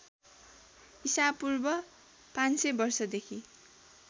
ईशापूर्व ५०० वर्षदेखि